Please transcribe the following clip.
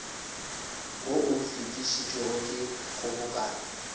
wo o fetišitšwego ke kgobokano